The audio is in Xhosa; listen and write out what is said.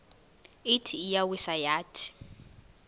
ithi iyawisa yathi